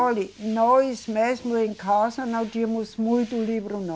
Olhe, nós mesmo em casa não tínhamos muito livro não.